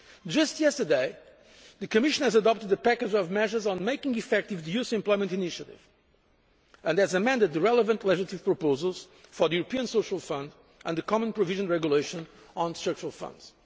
Just yesterday, the Commission adopted a package of measures on making effective the Youth Employment Initiative and has amended the relevant legislative proposals for the European Social Fund and the Common Provision Regulation on structural funds.